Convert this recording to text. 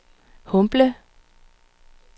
Humble